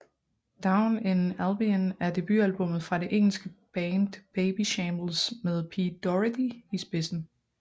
Down in Albion er debutalbummet fra det engelske band Babyshambles med Pete Doherty i spidsen